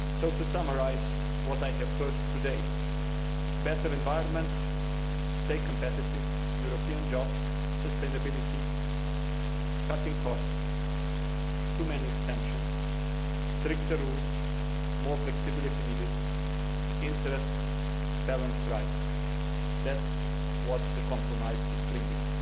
To summarise what I have heard today better environment, stay competitive, European jobs, sustainability, cutting costs, too many exemptions, stricter rules, more flexibility needed, interests, balanced rights. That is what the compromise is bringing.